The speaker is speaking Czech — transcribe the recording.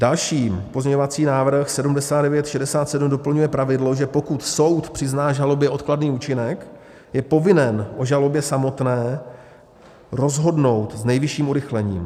Další pozměňovací návrh 7967 doplňuje pravidlo, že pokud soud přizná žalobě odkladný účinek, je povinen o žalobě samotné rozhodnout s nejvyšším urychlením.